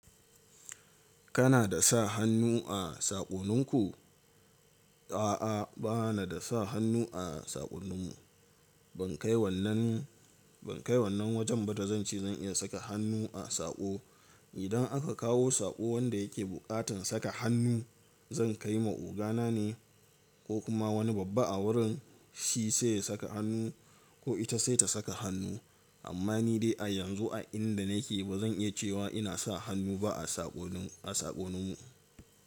Kana da sa hannu a saƙoninku? A'a, bana da sa hannu a saƙonnin mu. Ban kai wannan, ban kai wannan wajen ba da zan ce zan iya saka hannu a saƙo. Idan aka kawo saƙo wanda yake buƙatar saka hannu, zan kai ma ogana ne ko kuma wani babba a wurin, shi sai ya saka hannu ko ita sai ta saka hannu. Amma ni dai a yanzu a inda nake ba zan iya cewa ina sa hannu ba a saƙonin, a saƙonnin mu.